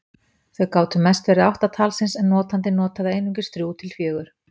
Þau gátu mest verið átta talsins en notandinn notaði einungis þrjú til fjögur.